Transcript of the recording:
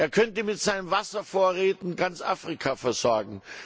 Er könnte mit seinen Wasservorräten ganz Afrika versorgen.